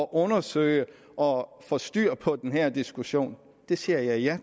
undersøge det og få styr på den her diskussion siger jeg ja